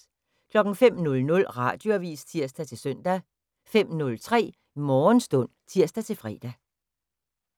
05:00: Radioavis (tir-søn) 05:03: Morgenstund (tir-fre)